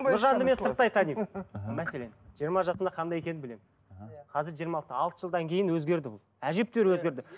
нұржанды мен сырттай танимын мәселен жиырма жасында қандай екенін білемін қазір жиырма алтыда алты жылдан кейін өзгерді бұл әжептеуір өзгерді